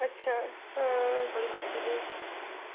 अच्छा, अं.. .